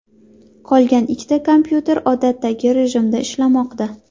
Qolgan ikkita kompyuter odatdagi rejimda ishlamoqda.